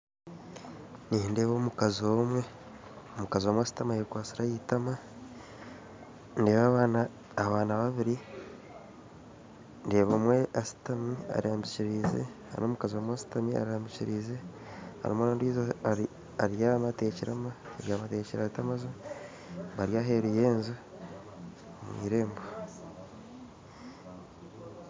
Nindeeba omukazi omwe omukazi omwe ashutami ayekwatsire ah'eitama ndeeba abaana abaana babiri ndeeba omwe ashutami arambikiriize n'omukazi omwe ashutami arambikiriize hariho n'ondiijo abyami ateekire amaju bari aheeru y'enju ah'eirembo